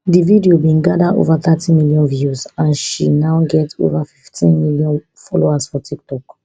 di video bin gada ova thirty million views and she now get ova fifteen million followers for tiktok